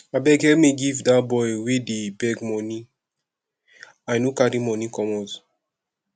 abeg help me give dat boy wey dey beg money i no carry money commot